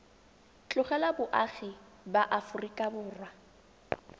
tlogela boagi ba aforika borwa